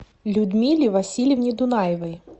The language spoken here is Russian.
людмиле васильевне дунаевой